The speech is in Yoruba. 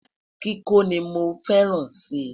kíkọ ní mọ fẹràn si